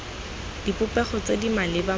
dipopego tse di maleba mo